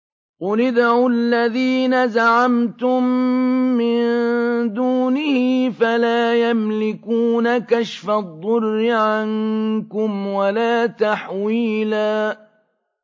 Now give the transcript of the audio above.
قُلِ ادْعُوا الَّذِينَ زَعَمْتُم مِّن دُونِهِ فَلَا يَمْلِكُونَ كَشْفَ الضُّرِّ عَنكُمْ وَلَا تَحْوِيلًا